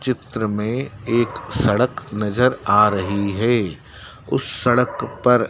चित्र में एक सड़क नजर आ रही है उस सड़क पर--